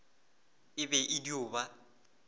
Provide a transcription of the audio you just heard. e be e dio ba